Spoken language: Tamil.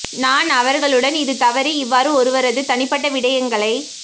நான் அவர்களுடன் இது தவறு இவ்வாறு ஒருவரது தனிப்பட்ட விடயங்களை